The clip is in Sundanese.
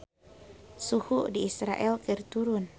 Suhu di Israel keur turun